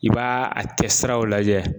I b'a a kɛsiraw lajɛ.